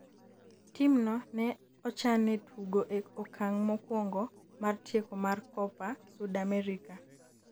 tim no ne ochanne tugo e okang' mokuongo mar tieko mar Copa Sudamerica